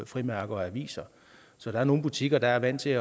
frimærker og aviser så der er nogle butikker der er vant til